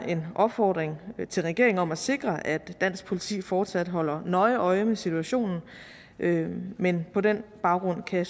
en opfordring til regeringen om at sikre at dansk politi fortsat holder nøje øje med situationen men men på den baggrund kan